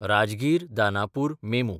राजगीर–दानापूर MEMU